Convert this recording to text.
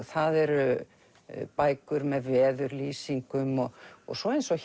það eru bækur með veðurlýsingum og svo eins og